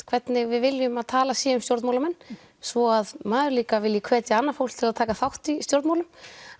hvernig við viljum að talað sé um stjórnmálamenn svo að maður líka vilji hvetja annað fólk til þess að taka þátt í stjórnmálum